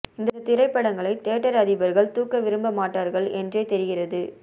இந்த திரைப்படங்களை தியேட்டர் அதிபர்கள் தூக்க விரும்ப மாட்டார்கள் என்றே தெரிகிறது